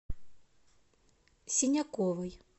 синяковой